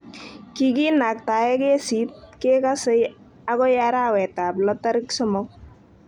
Kikinaktae kesiit kekasei akoi arawetab lo tarik somok.